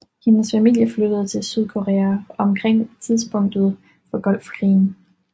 Hendes familie flyttede til Sydkorea omkring tidspunktet for Golfkrigen